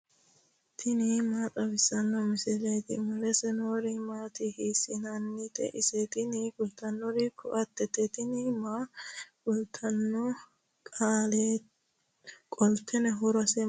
tini maa xawissanno misileeti ? mulese noori maati ? hiissinannite ise ? tini kultannori ko"attete. tini maaho kaa'litanno? qolteno horose maati?